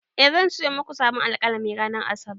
E, zan sayo muku sabon alƙalami ranar Asabar.